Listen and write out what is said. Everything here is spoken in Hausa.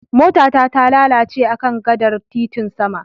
Mota ta talalace akan gadar titin sama.